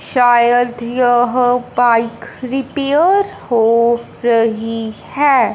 शायद यह bike repair हो रही है।